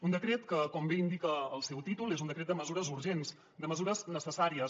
un decret que com bé indica el seu títol és un decret de mesures urgents de mesures necessàries